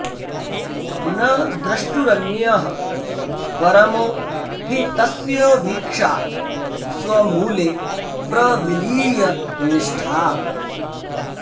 न द्रष्टुरन्यः परमो हि तस्य वीक्षा स्वमूले प्रविलीय निष्ठा